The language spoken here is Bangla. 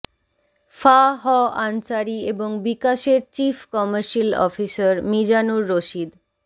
ফা হ আনসারী এবং বিকাশের chief commercial officer Mizanur Rashid